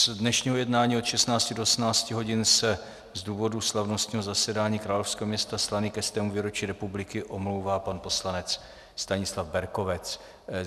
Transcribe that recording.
Z dnešního jednání od 16 do 18 hodin se z důvodu slavnostního zasedání královského města Slaný ke 100. výročí republiky omlouvá pan poslanec Stanislav Berkovec.